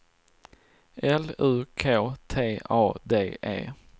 L U K T A D E